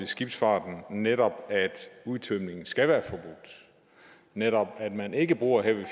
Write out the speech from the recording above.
skibsfarten netop at udtømningen skal være forbudt og netop at man ikke bruger heavy